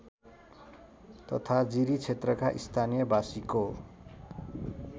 तथा जिरीक्षेत्रका स्थानीयबासीको